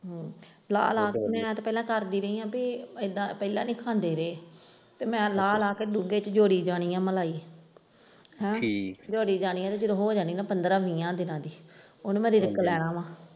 ਲਾਹ ਲਾਹ ਕੇ ਪਹਿਲਾਂ ਕਰਦੀ ਰਹੀ ਹੈ ਤੇ ਇੱਦਾਂ ਪਹਿਲਾਂ ਵੀ ਖਾਂਦੇ ਰਹੇ ਤੇ ਮੈਂ ਲਾਹ ਲਾਹ ਕੇ ਡੂੰਘੇ ਵਿੱਚ ਜੋੜੀ ਜਾਨੀ ਹੈ ਮਲਾਈ ਹੈਂ ਜੋੜੀ ਜਾਨੀ ਹੈ ਤੇ ਜਦੋਂ ਹੋ ਜਾਣੀ ਹੈ ਨਾ ਪੰਦਰਾਹ ਵੀਹਾਂ ਦਿਨਾਂ ਦੀ ਉਸ ਨੂੰ ਮੈਂ ਲਾ ਲੈਣਾ।